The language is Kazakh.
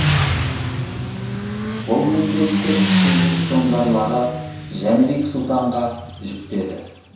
бұл міндетті кіші жүз шонжарлары жәнібек сұлтанға жүктеді